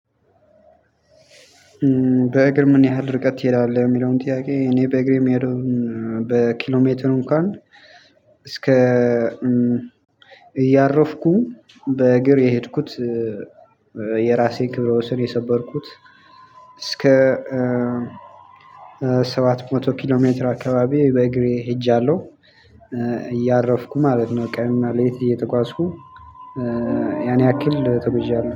በእግር ምን ያህል ርቀት ትሄዳለህ? የሚለውን ጥያቄ እኔ በእግሬ የምሄደውን በኪሎሜትር እንኳን እስከ እያረፍኩኝ በእግር የሄድኩት የራሴን ክብረ ወሰን የሰበርኩት። እስከ ሰባት መቶ ኪሎ ሜትር አካባቢ በእግሬ ሄጃለሁ እያረፍኩ ማለት ነው። ቀንና ሌሊት እየተጓዝኩኝ ያን ያክል ተጉዣለሁ